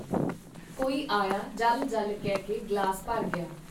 ਕੋਈ ਆਇਆ ਜਲ ਜਲ ਕਹਿਕੇ ਗਲਾਸ ਭਰ ਗਿਆ.